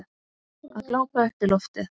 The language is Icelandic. Að glápa upp í loftið.